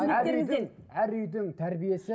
әр үйдің әр үйдің тәрбиесі